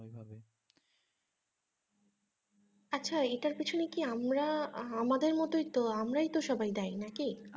আচ্ছা এইটার পিছনে কি আমরা আমাদের মতোই তো আমারই তো সবাই দায়ী নাকি?